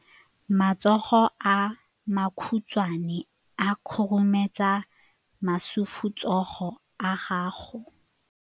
Matsogo a makhutshwane a khurumetsa masufutsogo a gago.